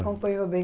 Acompanhou bem.